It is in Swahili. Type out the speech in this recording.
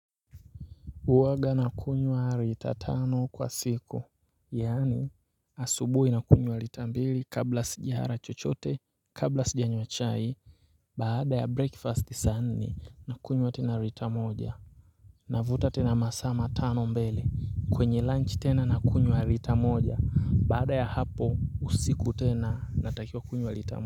Huwanga na kunywa lita tano kwa siku, yaani asubuhi na kunywa lita mbili kabla sijala chochote, kabla sijanywa chai, baada ya breakfast sani na kunywa tena lita moja. Navuta tena masaa tano mbele kwenye lunch tena na kunywa lita moja, baada ya hapo usiku tena natakiwaa kunywa lita moja.